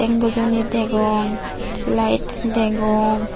bojoni degong te lait degong.